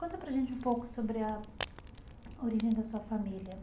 Conta para gente um pouco sobre a origem da sua família.